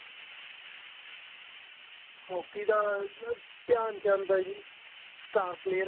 hockey ਦਾ ਧਿਆਨ ਚੰਦ ਏ ਜੀ star player